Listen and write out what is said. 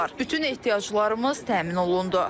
Bütün ehtiyaclarımız təmin olundu.